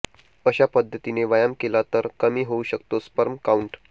अशा पद्धतीने व्यायाम केला तर कमी होऊ शकतो स्पर्म काउंट